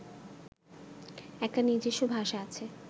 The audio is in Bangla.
একটা নিজস্ব ভাষা আছে